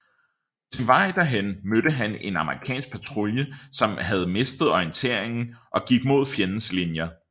På sin vej derhen mødte han en amerikansk patrulje som havde mistet orienteringen og gik mod fjendens linjer